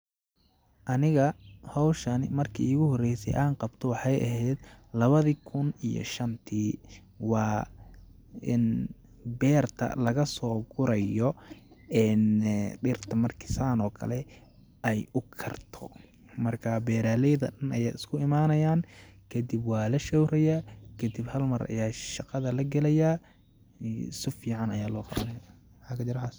Aniga hawshan marki iigu horeyse aan qabto waxeey aheed lawada kun iyo shantii ,waa in beerta lagasoo gurayodhirta marki saan oo kale ay u karto ,markaa beeralayada dhan ayaa isku imanayaaan kadib waa la showrayaa ,kadib halmar ayaa shaqada la galayaaa ,su fiican ayaa loo qawanayaa...... maxaa kajir waxaas .